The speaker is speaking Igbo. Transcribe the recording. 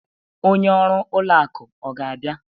Onye ọrụ ụlọ akụ ọ ga-abịa?